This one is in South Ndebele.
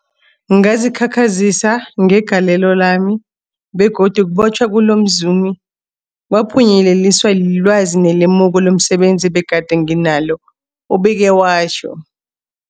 Ngazikhakhazisa ngegalelo lami, begodu ukubotjhwa komzumi lo kwaphunyeleliswa lilwazi nelemuko lomse benzi ebegade nginalo, ubeke watjho.